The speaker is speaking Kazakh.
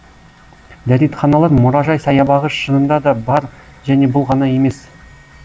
дәретханалар мұражай саябағы шынында да бар және бұл ғана емес